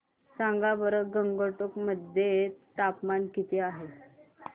सांगा बरं गंगटोक मध्ये तापमान किती आहे